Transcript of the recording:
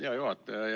Hea juhataja!